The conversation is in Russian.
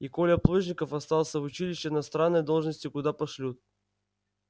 и коля плужников остался в училище на странной должности куда пошлют